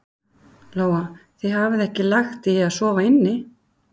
Lóa: Þið hafið ekki lagt í að sofa inni?